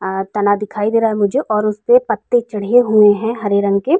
आ तना दिखाई दे रहा है मुझे और उसे पे पत्ते चढ़े हुए हैं हरे रंग के।